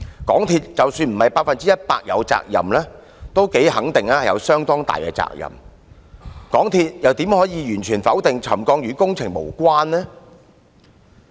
港鐵公司即使不是百分之一百有責任，也頗肯定有相當大的責任，港鐵公司怎可以完全否定沉降與工程有關？